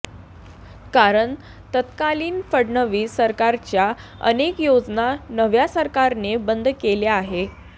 कारण तत्कालीन फडणवीस सरकारच्या अनेक योजना नव्या सरकारने बंद केल्या आहे